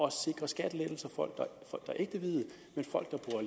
at sikre skattelettelser for folk der